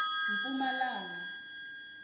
mpumalanga